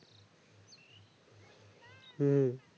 হুম